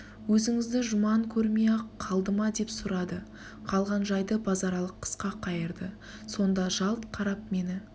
өзіңізді жұман көрмей-ақ қалды ма деп сұрады қалған жайды базаралы қысқа қайырды сонда жалт қарап мені